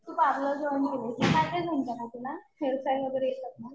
तू parlour join केलं. मग काय काय जमत गं तुला? हेअरस्टाईल वगैरे येते?